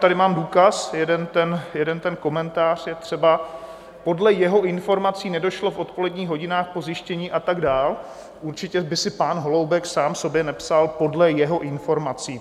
Tady mám důkaz , jeden ten komentář je třeba - "podle jeho informací nedošlo v odpoledních hodinách po zjištění" a tak dále - určitě by si pan Holoubek sám sobě nepsal "podle jeho informací".